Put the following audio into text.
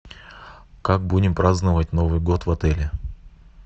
как будем праздновать новый год в отеле